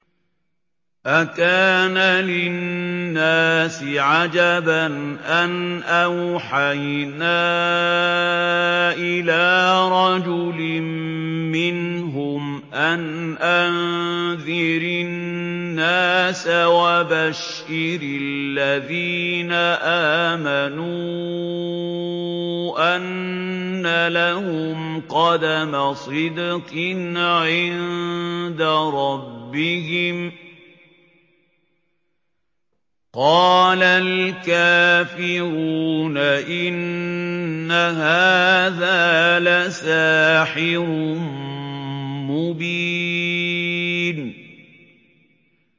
أَكَانَ لِلنَّاسِ عَجَبًا أَنْ أَوْحَيْنَا إِلَىٰ رَجُلٍ مِّنْهُمْ أَنْ أَنذِرِ النَّاسَ وَبَشِّرِ الَّذِينَ آمَنُوا أَنَّ لَهُمْ قَدَمَ صِدْقٍ عِندَ رَبِّهِمْ ۗ قَالَ الْكَافِرُونَ إِنَّ هَٰذَا لَسَاحِرٌ مُّبِينٌ